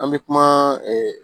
An bɛ kuma